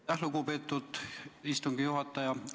Aitäh, lugupeetud istungi juhataja!